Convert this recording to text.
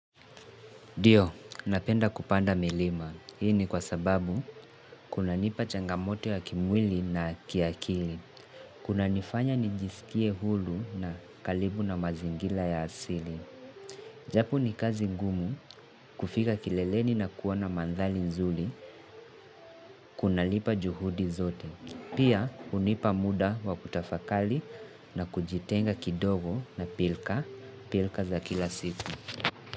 Ndio, napenda kupanda milima. Hii ni kwa sababu kuna nipa changamoto ya kimwili na kiakili. Kuna nifanya nijisikie huru na karibu na mazingira ya asili. Japo ni kazi ngumu kufika kileleni na kuona mandhali nzuli. Kunalipa juhudi zote. Pia hunipa muda wa kutafakari na kujitenga kidogo na pirika, pirika za kila siku.